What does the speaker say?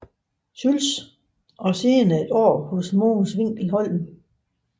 Schultz og senere et år hos Mogens Winkel Holm